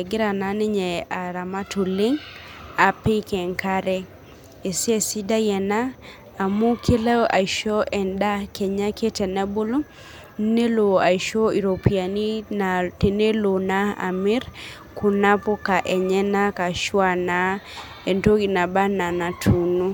Egira naa ninye aramat oleng' apik enkare. Esiai sidai ena amu kelo aisho endaa kenyake tenebulu nelo aisho iropiyiani tenelo naa amir kuna puka enyanak ashu anaa entoki naba enaa enatuuno.